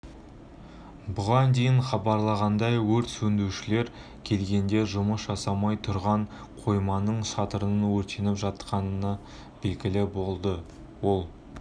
бұған дейін хабарлағандай өрт сөндірушілер келгенде жұмыс жасамай тұрған қойманың шатырының өртеніп жатқаны белгілі болды ол